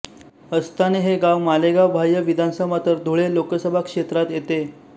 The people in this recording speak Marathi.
अस्ताने हे गाव मालेगाव बाह्य विधानसभा तर धुळे लोकसभा क्षेत्रात येते